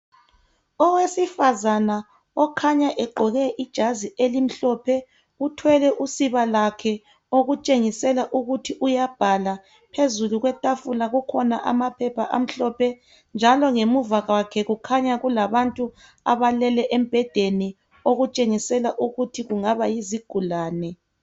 Owesifazana okhanya egqoke ijazi elimhlophe uthwele usiba lwakhe okutshengisela ukuthi uyabhala phezulu kwetafula kukhona amaphepha amhlophe njalo ngemuva kwakhe kukhanya kulabantu abalele embhedeni okutshengisela ukuthi kungaba yizigulane.